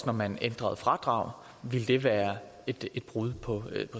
når man ændrede fradrag ville det være et brud på